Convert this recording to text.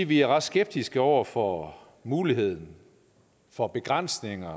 vi er ret skeptiske over for muligheden for begrænsningerne